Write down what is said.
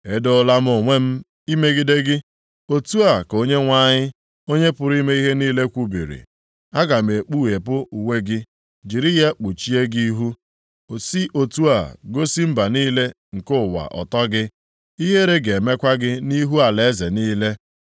“Edoola m onwe m imegide gị,” otu a ka Onyenwe anyị, Onye pụrụ ime ihe niile kwubiri. “Aga m ekpughepụ uwe gị, jiri ya kpuchie gị ihu, si otu a gosi mba niile nke ụwa ọtọ gị. Ihere ga-emekwa gị nʼihu alaeze niile.